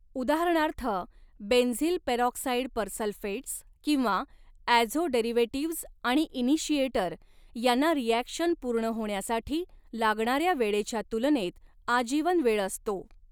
उदाहरणार्थ benzyl peroxide persulfates किंवा azo derivatives आणि इनिशिएटर यांना रिॲक्शन पूर्ण होण्यासाठी लागणाऱ्या वेळेच्या तुलनेत आजीवन वेळ असतो.